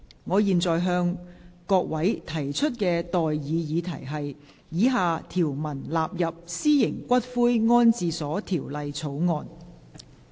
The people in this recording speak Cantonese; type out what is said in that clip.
我現在向各位提出的待議議題是：以下條文納入《私營骨灰安置所條例草案》。